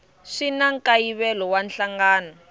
swi na nkayivelo wa nhlangano